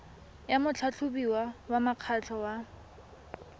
ya motlhatlhobiwa wa mokgatlho wa